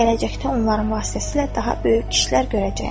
Gələcəkdə onların vasitəsilə daha böyük işlər görəcəyəm.